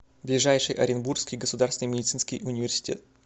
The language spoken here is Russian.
ближайший оренбургский государственный медицинский университет